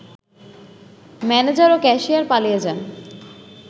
manager ও cashier পালিয়ে যান